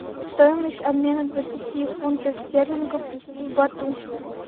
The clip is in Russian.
стоимость обмена двадцати фунтов стерлингов в бату